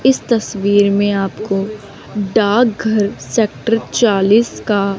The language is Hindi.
इस तस्वीर में आपको डाक घर सेक्टर चालीस का --